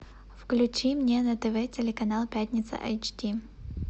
включи мне на тв телеканал пятница эйч ди